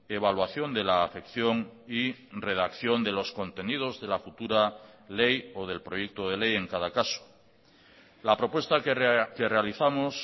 evaluación de la afección y redacción de los contenidos de la futura ley o del proyecto de ley en cada caso la propuesta que realizamos